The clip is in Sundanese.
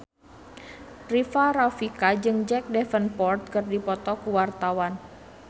Rika Rafika jeung Jack Davenport keur dipoto ku wartawan